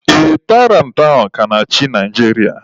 Ee, Tairantị ahụ ka na-achị Naijiria.